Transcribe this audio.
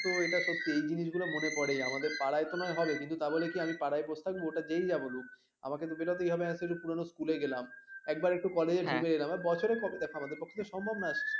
তো এটা সত্যি এই জিনিস গুলো মনে পড়ে আমাদের পাড়ায় তো নয় হবে কিন্তু তাবলে কি আমি পাড়ায় বসে থাকবো যেই যাই বলুক আমাকে বেরোতেই হবে ধরো পুরনো স্কুল গেলাম একবার একটু কলেজ ঘুরে এলাম বছরে দেখো আমাদের পক্ষে তো সম্ভব নয়